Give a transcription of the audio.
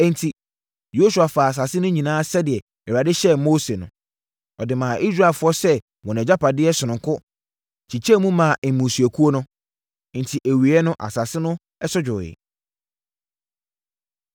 Enti, Yosua faa asase no nyinaa sɛdeɛ Awurade hyɛɛ Mose no. Ɔde maa Israelfoɔ sɛ wɔn agyapadeɛ sononko kyekyɛɛ mu maa mmusuakuo no. Enti awieeɛ no asase no so dwoeɛ.